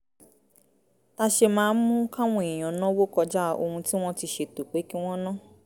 tà ṣe máa ń mú káwọn èèyàn náwó kọjá ohun tí wọ́n ti ṣètò pé kí wọ́n ná